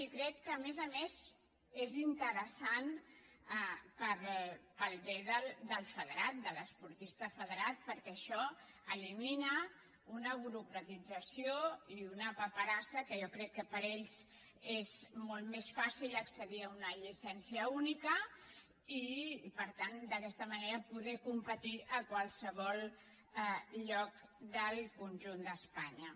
i crec que a més a més és interessant per al bé del federat de l’esportista federat perquè ai·xò elimina una burocratització i una paperassa que jo crec que per a ells és molt més fàcil accedir a una lli·cència única i per tant d’aquesta manera poder com·petir a qualsevol lloc del conjunt d’espanya